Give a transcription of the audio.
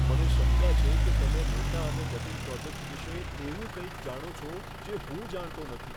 મને શંકા છે કે તમે મોટા અને જટિલ પ્રોજેક્ટ વિશે એવું કંઈક જાણો છો જે હું જાણતો નથી.